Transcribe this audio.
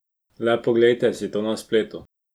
Le poglejte si to na spletu.